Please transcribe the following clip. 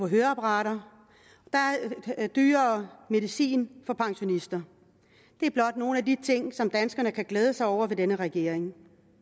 høreapparater der er dyrere medicin for pensionister det er blot nogle af de ting som danskerne kan glæde sig over med denne regering